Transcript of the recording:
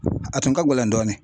A tun ka gɛlɛn dɔɔnin.